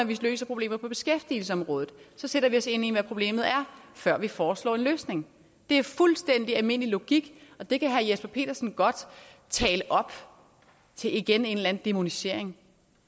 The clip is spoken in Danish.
vi løser problemer på beskæftigelsesområdet sætter vi os ind i hvad problemet er før vi foreslår en løsning det er fuldstændig almindelig logik og det kan herre jesper petersen godt tale op til igen en eller anden dæmonisering